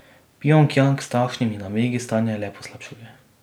Pjongjang s takšnimi namigi stanje le poslabšuje.